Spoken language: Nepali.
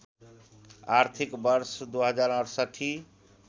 आर्थिक वर्ष २०६८